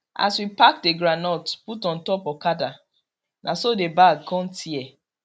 as we pack the groundnut put on top okada na so the bag con tear